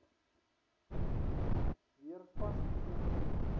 weer vas koperkrane